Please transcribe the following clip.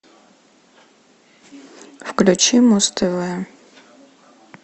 включи муз тв